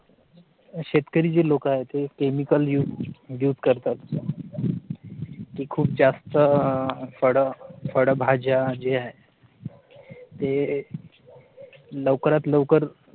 शेतकरी जे लोक आहेत ते chemical use use करतात ते खूप जास्त आह फड फड भाज्या जे आहे ते लवकरात लवकर